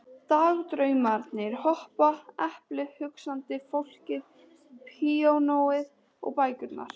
Dagdraumarnir hopa, eplið, hugsandi fólkið, píanóið, bækurnar.